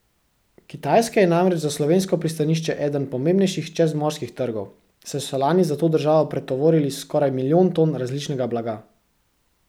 Kitajska je namreč za slovensko pristanišče eden pomembnejših čezmorskih trgov, saj so lani za to državo pretovorili skoraj milijon ton različnega blaga.